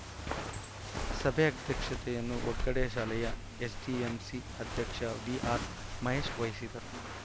ಸಭೆ ಅಧ್ಯಕ್ಷತೆಯನ್ನು ವಗ್ಗಡೆ ಶಾಲೆಯ ಎಸ್‌ಡಿಎಂಸಿ ಅಧ್ಯಕ್ಷ ವಿಆರ್‌ ಮಹೇಶ್‌ ವಹಿಸಿದರು